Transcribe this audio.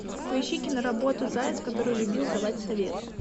поищи киноработу заяц который любил давать советы